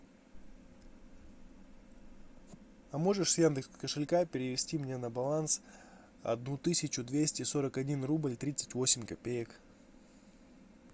а можешь с яндекс кошелька перевести мне на баланс одну тысячу двести сорок один рубль тридцать восемь копеек